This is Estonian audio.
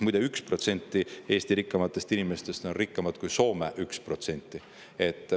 Muide, 1% Eesti rikkaimatest inimestest on rikkamad kui 1% Soome.